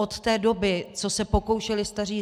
Od té doby, co se pokoušeli staří